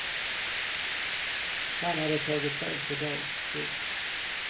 Han hade tagit fel på dag. punkt